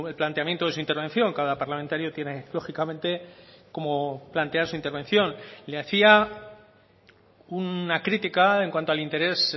planteamiento de su intervención cada parlamentario tiene lógicamente cómo plantear su intervención le hacía una crítica en cuanto al interés